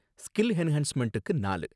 skill என்ஹான்ஸ்மெண்டுக்கு நாலு